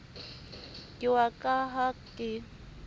ke wa ka ha ke